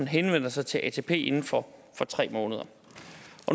henvender sig til atp inden for tre måneder